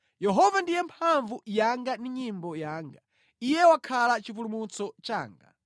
Yehova ndiye mphamvu yanga ndi nyimbo yanga; Iye wakhala chipulumutso changa.